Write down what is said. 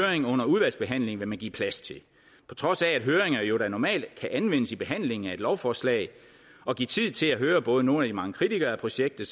høring under udvalgsbehandlingen vil man give plads til på trods af at høringer jo da normalt kan anvendes i behandlingen af et lovforslag og give tid til at høre både nogle af de mange kritikere af projektet